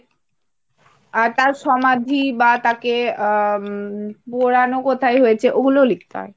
আর তার সমাধি বা তাকে আহ পোড়ানো কোথায় হয়েছে? ওগুলোও লিখতে হয়।